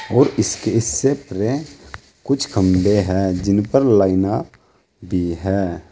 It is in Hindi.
और इसके इससे कुछ खंभे हैं जिन पर लाइना भी हैं।